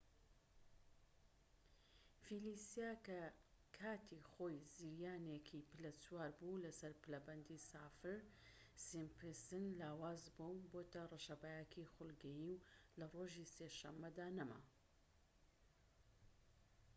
فیلیسا کە کاتی خۆی زریانێکی پلە چوار بوو لەسەر پلەبەندی سافر-سیمپسن لاواز بووە و بۆتە ڕەشەبایەکی خولگەیی و لە ڕۆژی سێ شەمەدا نەما